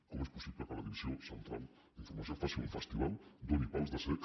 com és possible que la divisió central d’informació faci un festival doni pals de cec